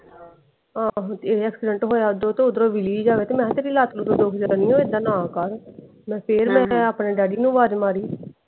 ਆਹੋ ਤੇ ਇਹ ਏਕ੍ਸਿਡੇੰਟ ਹੋਇਆ ਓਦੋ ਤੇ ਓਧਰੋਂ ਵਿਲੀ ਜਾਏ ਤੇ ਮੈਂ ਕਿਹਾ ਤੇਰੀ ਲੱਤ ਲੁੱਟ ਦੁੱਖ ਜਾਣੀ ਆ ਇੱਦਾ ਨਾ ਕਰ ਮੈਂ ਫੇਰ ਮੈਂ ਆਪਣੇ ਡੈਡੀ ਨੂੰ ਅਵਾਜ ਮਾਰੀ।